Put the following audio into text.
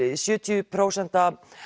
sjötíu prósent